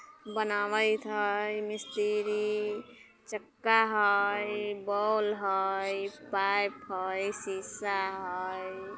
बनावित हई मिस्त्री चक्का हई बोल हई पाइप हई शीशा हई।